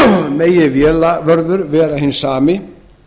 megi vélavörður vera hinn sami